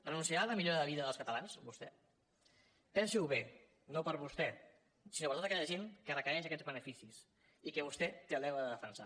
renunciarà a la millora de vida dels catalans vostè pensi ho bé no per vostè sinó per tota aquella gent que requereix aquests beneficis i que vostè té el deure de defensar